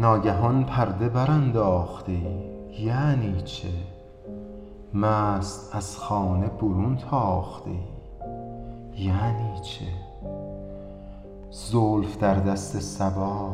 ناگهان پرده برانداخته ای یعنی چه مست از خانه برون تاخته ای یعنی چه زلف در دست صبا